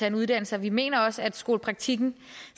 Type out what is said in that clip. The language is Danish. en uddannelse og vi mener også at skolepraktikken